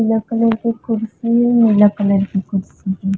पीला कलर के कुर्सी हे नीला कलर के कुर्सी हे।